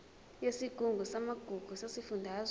yesigungu samagugu sesifundazwe